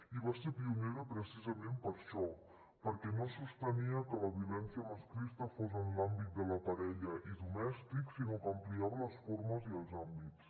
i va ser pionera precisament per això perquè no sostenia que la violència masclista fos en l’àmbit de la parella i domèstic sinó que n’ampliava les formes i els àmbits